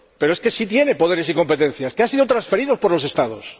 Pero es que sí tiene poderes y competencias que han sido transferidos por los Estados.